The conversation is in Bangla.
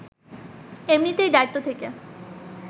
এমনিতেই দায়িত্ব থেকে